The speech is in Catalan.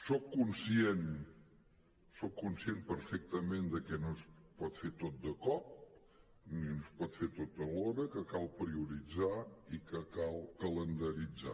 soc conscient soc conscient perfectament de que no es pot fer tot de cop que no es pot fer tot alhora que cal prioritzar i que cal calendaritzar